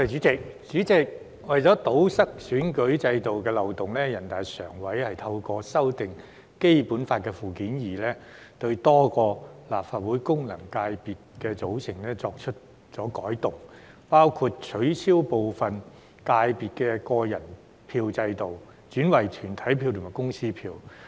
主席，為了堵塞選舉制度的漏洞，人大常委會透過修訂《基本法》附件二，對多個立法會功能界別的組成作出修改，包括取消部分界別的個人票制度，轉為團體票及公司票。